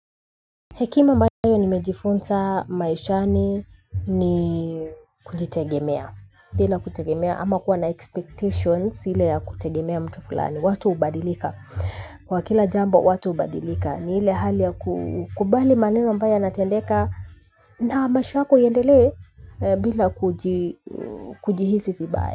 Hekima ambayo nimejifunza maishani ni kujitegemea, bila kutegemea ama kuwa na expectations ile ya kutegemea mtu fulani. Watu hubadilika, kwa kila jambo watu hubadilika, ni ile hali ya kukubali maneno ambayo yanatendeka ma maisha yako iendelee bila kujihisi vibaya.